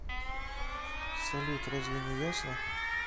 салют разве не ясно